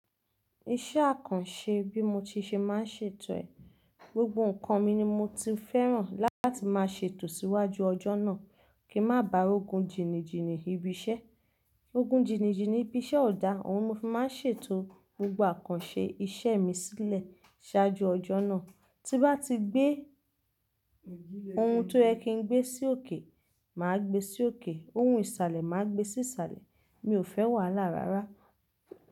Iṣẹ́ àkànṣe bí mo ti ṣe máa ń ṣètò ẹ̀. Gbgbo nǹkan mi ni mo ti fẹ́ràn láti máa ṣètò síwájú ọjọ́ náà kí má ba rogun jìníjìní ibi iṣẹ́. Ogun jìníjìní ibi iṣẹ́ ò dá, ohun mo fi máa ń ṣètò gbogbo àkànṣe iṣẹ́ mi sílẹ̀ ṣáájú ọjọ́ náà. Tí n bá ti gbé ohun tó yẹ kí n gbé sí òkè, mà á gbé sí òkè, ohun ìsàlẹ̀ mà á gbé sí ìsàlẹ̀. Mi ò fẹ́ wà lára rárá.